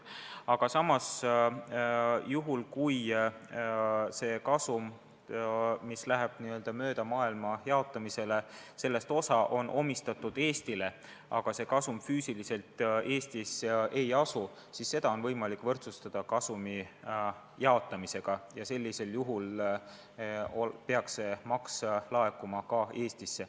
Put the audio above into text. Aga juhul kui osa sellest kasumist, mis läheb n-ö mööda maailma jaotamisele, omistatakse Eestile, aga see kasum füüsiliselt Eestis ei asu, siis seda on võimalik võrdsustada kasumi jaotamisega ja sellisel juhul peaks see maks laekuma ka Eestisse.